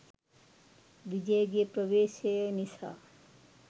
විජයගෙ ප්‍රවේශය නිසා